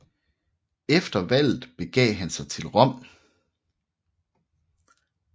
Efter valget begav han sig til Rom